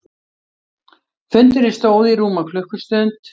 Fundurinn stóð í rúma klukkustund